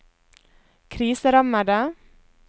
kriserammede